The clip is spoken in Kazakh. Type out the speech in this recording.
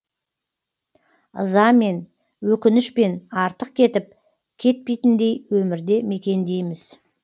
ызамен өкінішпен артық кетіп кетпейтіндей өмірде мекендейміз